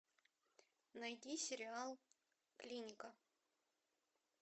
найди сериал клиника